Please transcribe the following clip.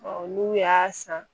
olu y'a san